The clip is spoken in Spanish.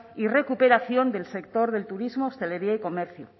y recuperación del sector del turismo hostelería y comercio